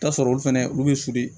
I bi t'a sɔrɔ olu fɛnɛ olu be suli